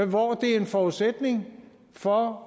hvor det er en forudsætning for